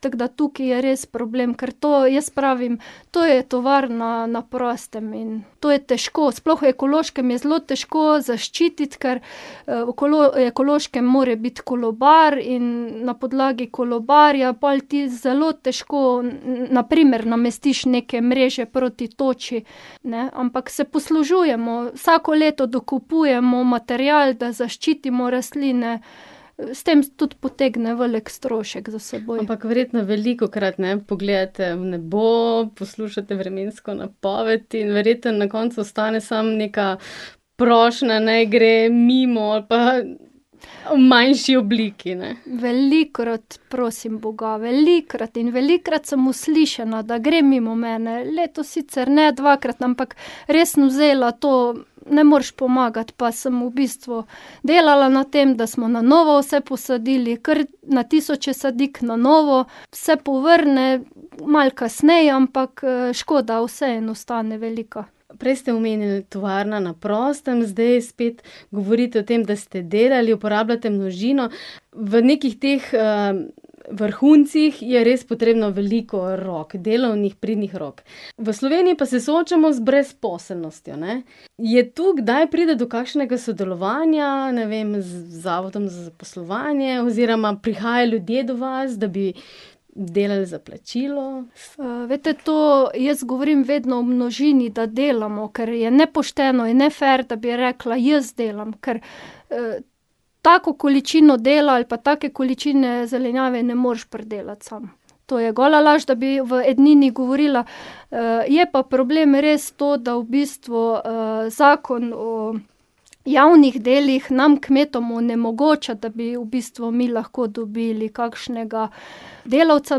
Tako da tukaj je res problem. Ker to, jaz pravim, to je tovarna na prostem in to je težko, sploh v ekološkem je zelo težko zaščititi, ker, ekološkem mora biti kolobar in na podlagi kolobarja pol ti zelo težko na primer namestiš neke mreže proti toči, ne. Ampak se poslužujemo. Vsako leto dokupujemo material, da zaščitimo rastline. s tem tudi potegne velik strošek za seboj. Ampak verjetno velikokrat, ne, pogledate v nebo, poslušate vremensko napoved in verjetno na koncu ostane samo neka prošnja, naj gre mimo, ali pa v manjši obliki, ne. Velikokrat prosim Boga, velikokrat. In velikokrat sem uslišana, da gre mimo mene. Letos sicer ne dvakrat, ampak res sem vzela to, ne moreš pomagati, pa sem v bistvu delala na tem, da smo na novo vse posadili, kar na tisoče sadik na novo. Se povrne malo kasneje, ampak, škoda vseeno ostane velika. Prej ste omenili tovarno na prostem, zdaj spet govorite o tem, da ste delali, uporabljate množino. V nekih teh, vrhuncih je res potrebno veliko rok, delovnih, pridnih rok. V Sloveniji pa se soočamo z brezposelnostjo, ne. Je tu, kdaj pride do kakšnega sodelovanja, ne vem, z Zavodom za zaposlovanje oziroma prihajajo ljudje do vas, da bi delali za plačilo? veste, to jaz govorim vedno v množini, da delamo, kar je nepošteno in nefer, da bi rekla: "Jaz delam." Ker, tako količino dela ali pa take količine zelenjave ne moreš pridelati sam. To je gola laž, da bi v ednini govorila. je pa problem res to, da v bistvu, zakon o javnih delih nam kmetom onemogoča, da bi v bistvu mi lahko dobili kakšnega delavca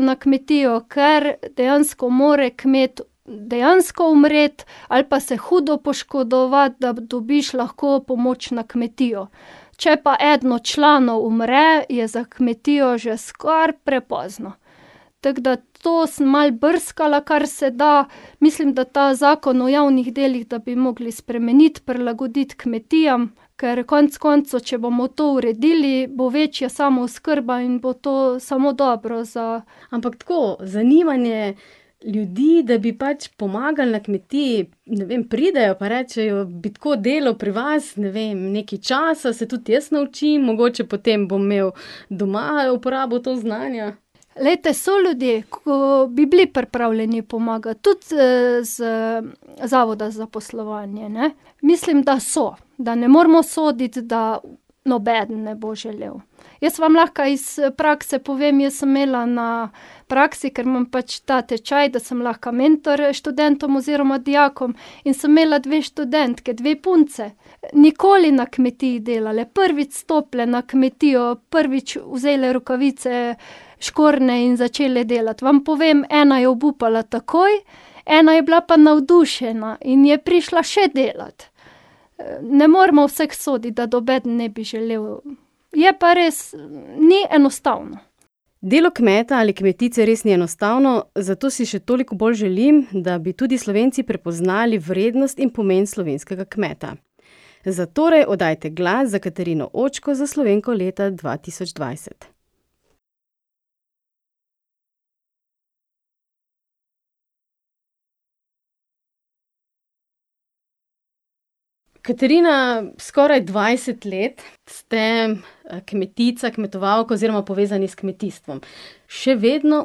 na kmetijo, ker dejansko mora kmet dejansko umreti ali pa se hudo poškodovati, da dobiš lahko pomoč na kmetijo. Če pa eden od članov umre, je za kmetijo že skoraj prepozno. Tako da to sem malo brskala, kar se da. Mislim, da ta Zakon o javnih delih, da bi mogli spremeniti, prilagoditi kmetijam, ker konec koncev, če bomo to uredili, bo večja samooskrba in bo to samo dobro za ... Ampak tako, zanimanje ljudi, da bi pač pomagali na kmetiji. Ne vem, pridejo pa rečejo: "Bi tako delal pri vas, ne vem, nekaj časa, se tudi jaz naučim. Mogoče potem bom imel doma, uporabil ta znanja." Glejte, so ljudje, ki bi bili pripravljeni pomagati, tudi, z Zavoda za zaposlovanje, ne. Mislim, da so. Da ne moremo soditi, da nobeden ne bo želel. Jaz vam lahko iz prakse povem, jaz sem imela na praksi, ker imam pač ta tečaj, da sem lahko mentor študentom oziroma dijakom, in sem imela dve študentki, dve punci. Nikoli na kmetiji delali, prvič stopili na kmetijo, prvič vzeli rokavice, škornje in začeli delati. Vam povem, ena je obupala takoj, ena je bila pa navdušena in je prišla še delat. ne moremo vseh soditi, da nobeden ne bi želel. Je pa res, ni enostavno. Delo kmeta ali kmetice res ni enostavno, zato si še toliko bolj želim, da bi tudi Slovenci prepoznali vrednost in pomen slovenskega kmeta. Zatorej oddajte glas za Katarino Očko za Slovenko leta dva tisoč dvajset. Katarina, skoraj dvajset let ste, kmetica, kmetovalka oziroma povezani s kmetijstvom. Še vedno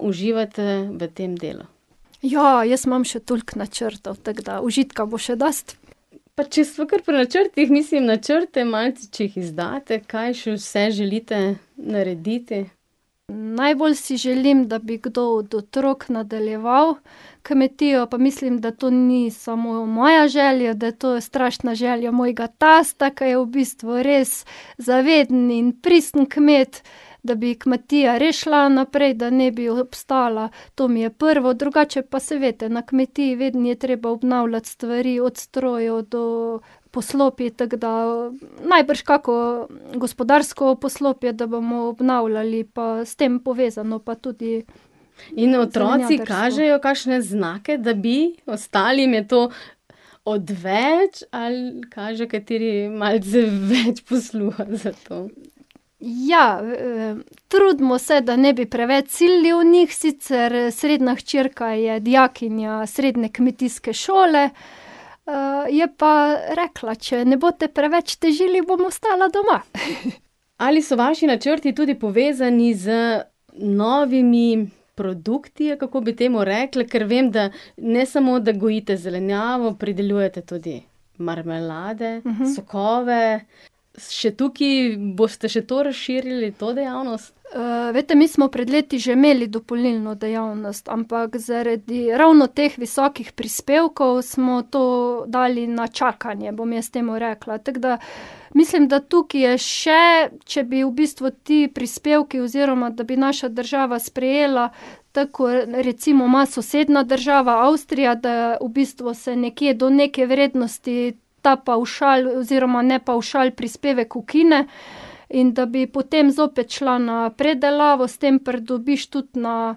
uživate v tem delu? Ja. Jaz imam še toliko načrtov, tako da užitka bo še dosti. Pa če sva kar pri načrtih, mislim načrte malo, če jih izdate. Kaj še vse želite narediti? Najbolj si želim, da bi kdo od otrok nadaljeval kmetijo, pa mislim, da to ni samo moja želja, da je to strašna želja mojega tasta, ki je v bistvu res zaveden in pristen kmet, da bi kmetija res šla naprej, da ne bi obstala. To mi je prvo, drugače pa, saj veste, na kmetiji vedno je treba obnavljati stvari, od strojev do poslopij, tako da najbrž kako gospodarsko poslopje, da bomo obnavljali pa s tem povezano, pa tudi In otroci kažejo kakšne znake, da bi zelenjadarstvo. ostali? Jim je to odveč ali kaže kateri malce več posluha za to? Ja, trudimo se, da ne bi preveč silili v njih. Sicer srednja hčerka je dijakinja srednje kmetijske šole. je pa rekla: "Če ne boste preveč težili, bom ostala doma." Ali so vaši načrti tudi povezani z novimi produkti ali kako bi temu rekla? Ker vem, da ne samo da gojite zelenjavo, pridelujete tudi marmelade, sokove. Še tukaj, boste še to razširili, to dejavnost? veste, mi smo pred leti že imeli dopolnilno dejavnost, ampak zaradi ravno teh visokih prispevkov smo to dali na čakanje, bom jaz temu rekla. Tako da mislim, da tukaj je še, če bi v bistvu ti prispevki, oziroma da bi naša država sprejela, tako kot recimo ima sosednja država, Avstrija, da v bistvu se nekje do neke vrednosti ta pavšal, oziroma ne pavšal, prispevek, ukine in da bi potem zopet šla na predelavo. S tem pridobiš tudi na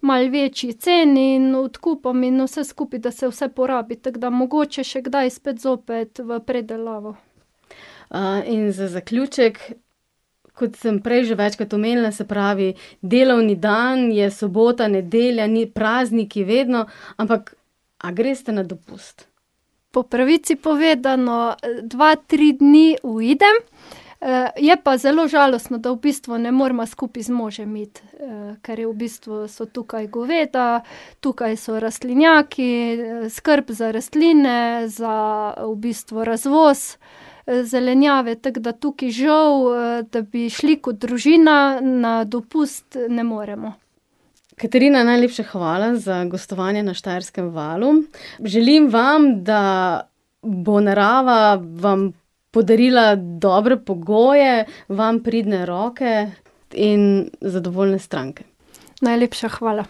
malo večji ceni in odkupom in vse skupaj, da se vse porabi. Tako da mogoče še kdaj spet zopet v predelavo. in za zaključek. Kot sem prej že večkrat omenila, se pravi, delovni dan je sobota, nedelja, ni prazniki, vedno. Ampak a greste na dopust? Po pravici povedano, dva, tri dni uidem. je pa zelo žalostno, da v bistvu ne moreva skupaj z možem iti, ker je v bistvu so tukaj goveda, tukaj so rastlinjaki, skrb za rastline, za v bistvu razvoz, zelenjave. Tako da tukaj žal, da bi šli kot družina na dopust, ne moremo. Katarina, najlepša hvala za gostovanje na Štajerskem valu. Želim vam, da bo narava vam podarila dobre pogoje, vam pridne roke in zadovoljne stranke. Najlepša hvala.